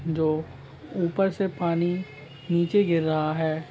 जो ऊपर से पानी नीचे गिर रहा है।